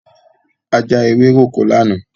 A já ewéròkó lánàá.